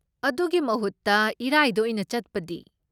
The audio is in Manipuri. ꯑꯗꯨꯒꯤ ꯃꯍꯨꯠꯇ ꯏꯔꯥꯏꯗ ꯑꯣꯏꯅ ꯆꯠꯄꯗꯤ?